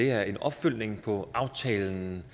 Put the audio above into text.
er en opfølgning på aftalen